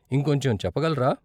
ఇంకొంచెం చెప్పగలరా?